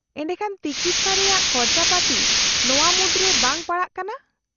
-ᱮᱰᱮᱠᱷᱟᱱ ᱛᱤᱠᱤᱪᱷᱟ ᱨᱮᱭᱟᱜ ᱠᱷᱚᱨᱪᱟᱯᱟᱛᱤ ᱱᱚᱶᱟ ᱢᱩᱫᱨᱮ ᱵᱟᱝ ᱯᱟᱲᱟᱜ ᱠᱟᱱᱟ ?